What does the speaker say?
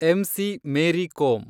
MC. Mary Kom